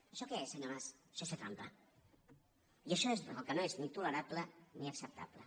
això què és senyor mas això és fer trampa i això és el que no és ni tolerable ni acceptable